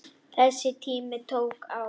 Þessi tími tók á.